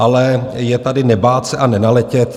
Ale je tady: "Nebát se a nenaletět."